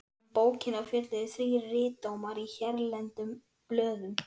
Um bókina fjölluðu þrír ritdómarar í hérlendum blöðum.